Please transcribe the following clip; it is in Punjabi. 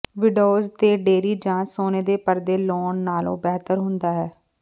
ਵਿੰਡੋਜ਼ ਤੇ ਡੇਅਰੀ ਜਾਂ ਸੋਨੇ ਦੇ ਪਰਦੇ ਲਾਉਣ ਨਾਲੋਂ ਬਿਹਤਰ ਹੁੰਦਾ ਹੈ